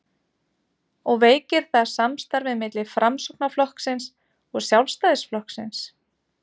og veikir það samstarfið milli Framsóknarflokksins og Sjálfstæðisflokksins?